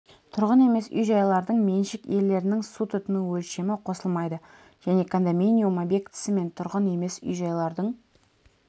тұрғын емес үй-жайлардың меншік иелерінің су тұтыну өлшемі қосылмайды және кондоминиум объектісі мен тұрғын емес үй-жайлардың